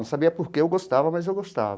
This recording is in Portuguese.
Não sabia por que eu gostava, mas eu gostava.